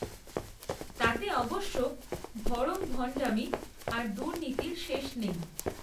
তাতে অবশ্য ভড়ংভণ্ডামি আর দুর্নীতির শেষ নেই